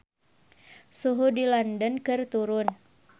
Suhu di London keur turun